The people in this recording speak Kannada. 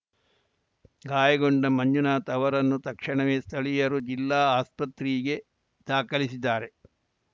ಗಾಯಗೊಂಡ ಮಂಜುನಾಥ ಅವರನ್ನು ತಕ್ಷಣವೇ ಸ್ಥಳೀಯರು ಜಿಲ್ಲಾ ಆಸ್ಪತ್ರೆಗೆ ದಾಖಲಿಸಿದ್ದಾರೆ